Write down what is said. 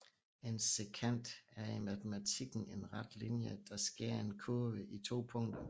En sekant er i matematikken en ret linje der skærer en kurve i to punkter